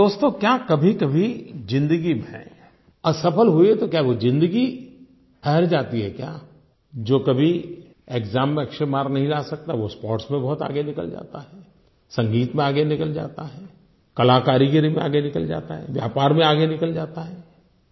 और दोस्तो क्या कभीकभी ज़िन्दगी में असफल हुए तो क्या वो ज़िन्दगी ठहर जाती है क्या जो कभी एक्साम में अच्छे मार्क्स नहीं ला सकता वो स्पोर्ट्स में बहुत आगे निकल जाता है संगीत में आगे निकल जाता है कलाकारीगरी में आगे निकल जाता है व्यापार में आगे निकल जाता है